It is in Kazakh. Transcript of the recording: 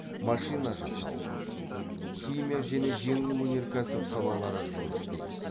машина жасау химия және жеңіл өнеркәсіп салалары жұмыс істейді